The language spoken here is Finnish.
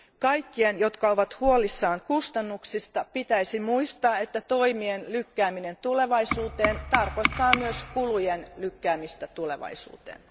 Kaikkien, jotka ovat huolissaan kustannuksista, pitäisi muistaa, että toimien lykkääminen tulevaisuuteen tarkoittaa myös kulujen lykkäämistä tulevaisuuteen.